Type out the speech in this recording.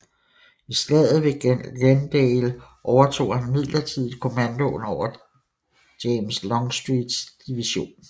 I Slaget ved Glendale overtog han midlertidigt kommandoen over James Longstreets division